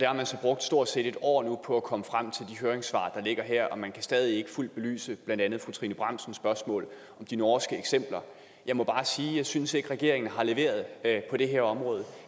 har man så brugt stort set et år på at komme frem til de høringssvar der ligger her og man kan stadig ikke fuldt belyse blandt andet fru trine bramsens spørgsmål om de norske eksempler jeg må bare sige jeg synes ikke regeringen har leveret på det her område